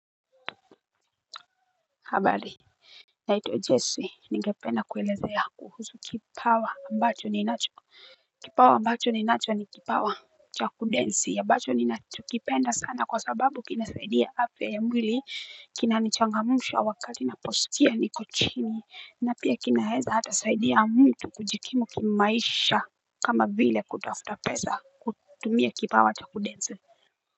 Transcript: Habari. Naitwa Jessy, ningependa kuelezea. Kuhusu kipawa ambacho ninacho. Kipawa ambacho ninacho ni kipawa cha kudensi. Ambacho ninacho kipenda sana kwa sababu kinasaidia afya ya mwili. Kinanichangamsha wakati naposkia niko chini. Na pia kinaeza hata saidia mtu kujikimu kimaisha. Kama vile kutafuta pesa kutumia kipawa cha kudensi.